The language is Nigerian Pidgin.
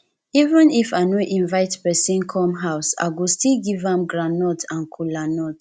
even if i no inivte pesin come house i go still give am groundnut and kola nut